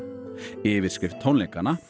yfirskrift tónleikanna